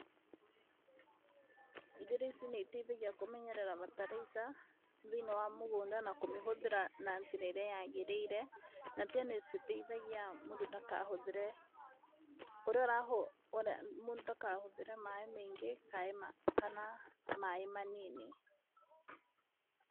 Njĩra ici nĩ iteithagia kũmenyerera bataraica thĩiniĩ wa mũgũnda na kũmĩhũthĩra na njĩra ĩrĩa yagĩrĩire. Na tena nĩ citeithagia mũndũ ndakahũthĩre, ũrĩa ũrahũthĩra mũndũ ndakahũthĩre maaĩ maingĩ kana maaĩ manini.